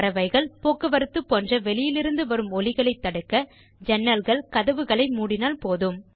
பறவைகள் போக்குவரத்து போன்ற வெளியிலிருந்து வரும் ஒலிகளைத் தடுக்க ஜன்னல்கள் கதவுகளை மூடினால் போதும்